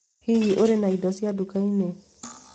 Hihi ũrĩ na indo ici nduka-inĩ